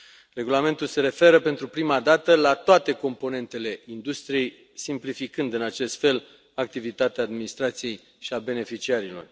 Regulamentul se referă pentru prima dată la toate componentele industriei, simplificând în acest fel activitatea administrației și a beneficiarilor.